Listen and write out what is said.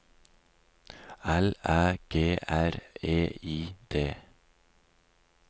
L Æ G R E I D